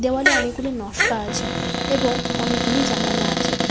দেওয়ালে অনেকগুলি নশকা আছে এবং অনেকগুলি জালানা আছে।